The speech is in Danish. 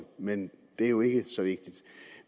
men det er jo ikke så vigtigt